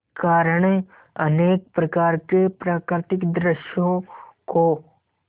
कारण अनेक प्रकार के प्राकृतिक दृश्यों को